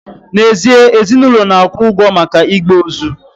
N'ezie, ezinụlọ na-akwụ ụgwọ maka igbe ozu